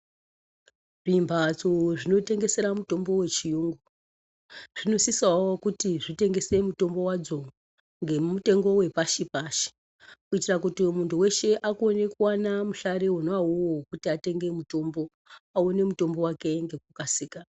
Zvimbatso zvinotengesera mutombo wechiyungu zvinosisawo kuti zvitengese mutombo wadzo ngemutengo wepashipashi kuitira kuti muntu weshe akone kuwana muhlari wona uwowo wokuti atenge mutombo, qone mutombo wake ngekukasika.